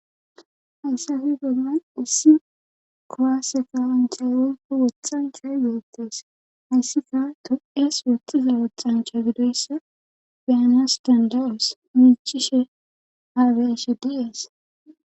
Hayssa fi gogan issi kowaasekawunchay onko woxxanchay geyettes hayssika to7es wottiza woxxancha gidoyssa biana sdandawus miicishe haeshe dies.